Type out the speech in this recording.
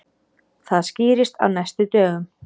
Það skýrist á næstu dögum.